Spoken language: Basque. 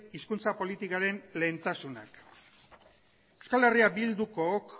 hizkuntza politikaren lehentasunak euskal herriak bildukook